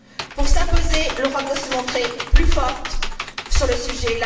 Pour s'imposer, l'Europe doit se montrer plus forte sur le sujet.